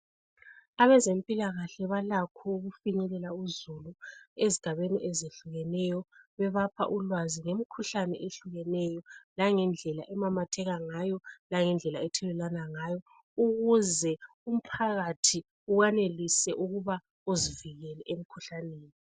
Abezempilakahle balakho ukufinyelela uzulu ezigabeni ezehlukeneyo bebapha ulwazi ngemkhuhlane ehlukeneyo langendlela emamatheka ngayo langendlela ethelelwana ngayo ukuze umphakathi uwanelise ukuba uzivikele emkhuhlaneni.